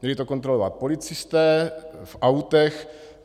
Měli to kontrolovat policisté v autech.